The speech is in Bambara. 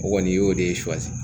O kɔni y'o de ye